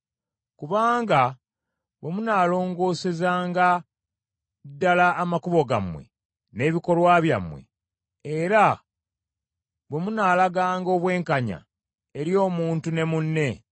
Kubanga bwe munaalongoosezanga ddala amakubo gammwe n’ebikolwa byammwe; era bwe munaalaganga obwenkanya eri omuntu ne munne,